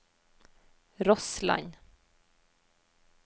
Rossland